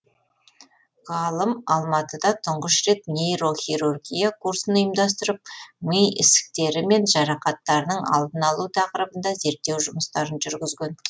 ғалым алматыда тұңғыш рет нейрохирургия курсын ұйымдастырып ми ісіктері мен жарақаттарының алдын алу тақырыбында зерттеу жұмыстарын жүргізген